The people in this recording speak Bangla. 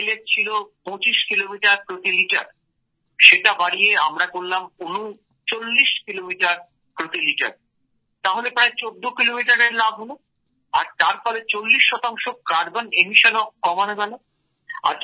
এর মাইলেজ ছিল ২৫ কিলোমিটার প্রতি লিটার সেটা বাড়িয়ে আমরা করলাম ৩৯ কিলোমিটার প্রতি লিটার তাহলে প্রায় ১৪ কিলোমিটার এর লাভ হলো আর তার ফলে চল্লিশ শতাংশ কার্বন নিঃসরণও কমানো গেল